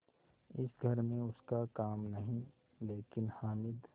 इस घर में उसका काम नहीं लेकिन हामिद